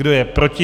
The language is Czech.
Kdo je proti?